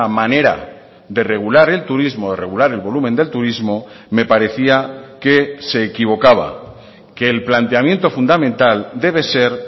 manera de regular el turismo regular el volumen del turismo me parecía que se equivocaba que el planteamiento fundamental debe ser